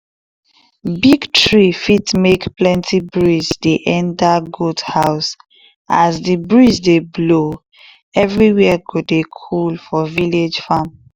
big tree fit dey make plenty breeze dey enter goat house as the breeze dey blow everywhere go cool for village farm